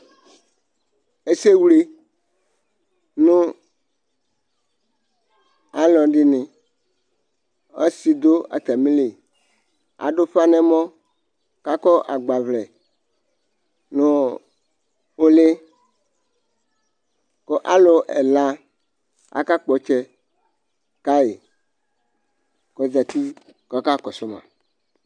ɛsɛwle nʊ alʊɛdɩnɩ ɔsɩdʊ atamɩlɩ aɗʊƒa nɛmɔ aƙɔ agɓaʋlɛ nʊɔ oʊlɩ ƙʊ alʊ ɛla aƙaƙpɔtsɛ ƙaƴɩ kɔzatɩ ƙɔƙaƙɔsʊma